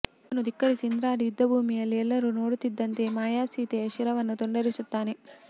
ಇದನ್ನು ದಿಕ್ಕರಿಸಿ ಇಂದ್ರಾರಿ ಯುದ್ಧಭೂಮಿಯಲ್ಲಿ ಎಲ್ಲರೂ ನೋಡುತ್ತಿದ್ದಂತೆ ಮಾಯಾಸೀತೆಯ ಶಿರವನ್ನು ತುಂಡರಿಸುತ್ತಾನೆ